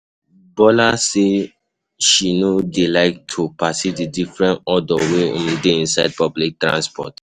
Bola say she no dey like to perceive the different odor wey um dey inside public transport.